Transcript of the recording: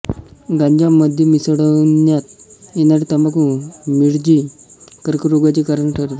गांजा मध्ये मिसळण्यात येणारी तंबाखु मिरजी कर्करोगाचे कारण ठरते